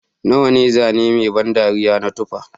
Nawa ne zane mai ban dariya na tufa